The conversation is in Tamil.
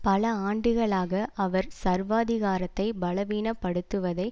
பல ஆண்டுகளாக அவர் சர்வாதிகாரத்தை பலவீனப்படுத்துவதை